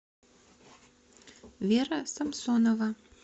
вера самсонова